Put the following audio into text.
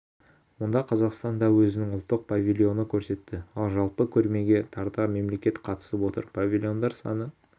онда қазақстан да өзінің ұлттық павильонын көрсетті ал жалпы көрмеге тарта мемлекет қатысып отыр павильондар саны